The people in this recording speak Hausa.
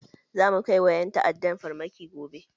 Zamu kai wa ƴan ta'addan farmaki gobe